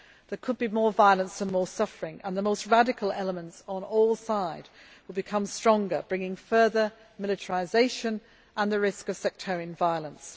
There could be more violence and suffering and the most radical elements on all sides will become stronger, bringing further militarisation and the risk of sectarian violence.